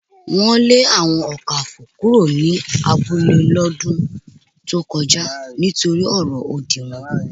Wọn lè àwọn Ọ̀kàfọ̀ kúrò ní abúlẹ̀ lódún tó kọja nítorí ọ̀rọ̀ ódì wọn